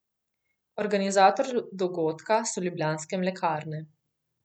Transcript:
Organizator dogodka so Ljubljanske mlekarne.